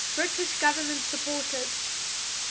british government supported